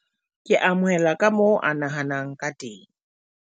ke amohela ka moo a nahanang ka teng